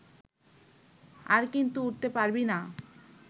আর কিন্তু উঠতে পারবি না